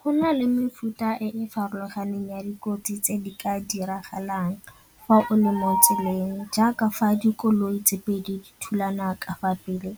Go na le mefuta e e farologaneng ya dikotsi tse di ka diragalang fa o le mo tseleng jaaka fa dikoloi tse pedi di thulana ka fa pele,